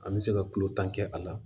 An bɛ se ka tulo tan kɛ a la